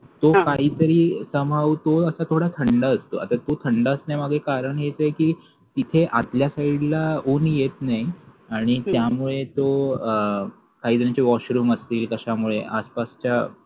तो काहीतरी somehow तो असं थोडा थंड असतो आता तो थंड असण्यामागे कारण हेच आहे कि तिथे आतल्या side ला ऊन येत नाही आणि त्यामुळे तो अं काहीजणांचे washroom असतील आसपास त्या कशामुळे आसपासच्या